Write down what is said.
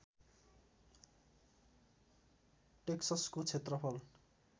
टेक्ससको क्षेत्रफल